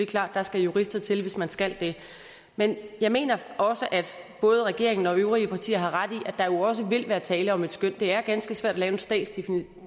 klart at der skal jurister til hvis man skal det men jeg mener også at både regeringen og de øvrige partier har ret i at der jo også vil være tale om et skøn det er ganske svært at lave en statsdefinition